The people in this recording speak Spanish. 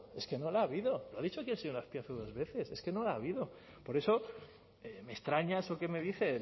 es que no la ha habido lo ha dicho aquí el señor azpiazu dos veces es que no la ha habido por eso me extraña eso que me dice